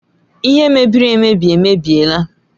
Ihe mebiri emebi emebiela